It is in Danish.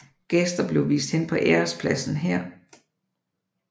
Gæster blev vist hen på ærespladsen her